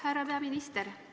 Härra peaminister!